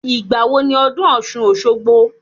Ìgbà wo ni ọdún ọ̀ṣun - òṣogbo?